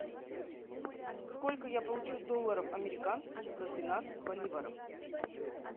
сколько я получу долларов американских за двенадцать боливаров